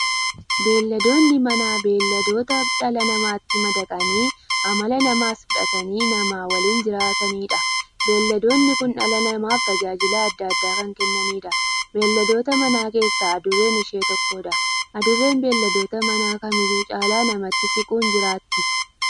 Beeyladoonni Manaa beeyladoota dhala namaatti madaqanii amala namaas fudhatanii, nama waliin jiraataniidha. Beeyladoonni kun dhala namaaf tajaajila adda addaa kan kennaniidha. Beeyladoota manaa keessaa Adurreen ishee tokkodha. Adurreen beeyladoota manaa kamiyyuu caala namatti siquun jiraatti.